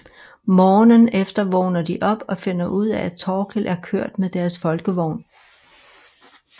Morgenen efter vågner de op og finder ud af at Thorkild er kørt med deres Folkevogn